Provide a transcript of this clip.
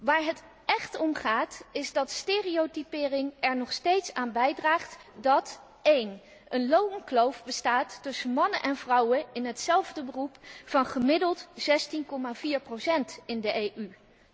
Waar het echt om gaat is dat stereotypering er nog steeds aan bijdraagt dat 1 er een loonkloof bestaat tussen mannen en vrouwen in hetzelfde beroep van gemiddeld 16,4 procent in de EU